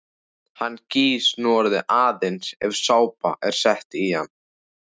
Hann gýs núorðið aðeins ef sápa er sett í hann.